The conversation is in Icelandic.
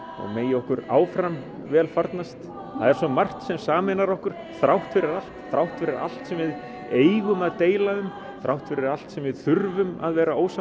megi okkur áfram vel farnast það er svo margt sem sameinar okkur þrátt fyrir allt þrátt fyrir allt sem við eigum að deila um þrátt fyrir allt sem við þurfum að vera ósammála